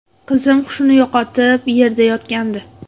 Qizim hushini yo‘qotib, yerda yotgandi.